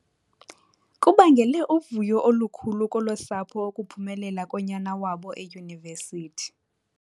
Kubangele uvuyo olukhulu kolo sapho ukuphumela konyana wabo eyunivesithi.